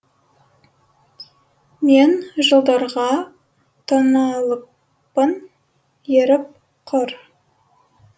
мен жылдарға тоналыппын еріп құр